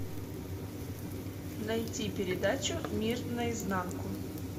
найти передачу мир наизнанку